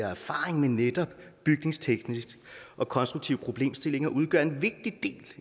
erfaring med netop byggetekniske og konstruktive problemstillinger udgøre en vigtig del